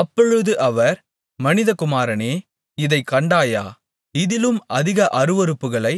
அப்பொழுது அவர் மனிதகுமாரனே இதைக் கண்டாயா இதிலும் அதிக அருவருப்புகளை